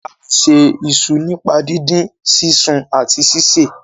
a lẹ ṣe iṣu nípa didin, sisùn àti síse.